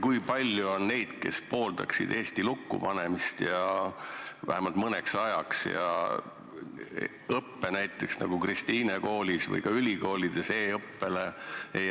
Kui palju on neid, kes pooldaksid Eesti lukku panemist, vähemalt mõneks ajaks, ning näiteks õppetöö üleviimist e-õppele, nagu Kristiine koolis või ka ülikoolides?